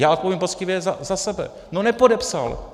Já odpovím poctivě za sebe: no nepodepsal.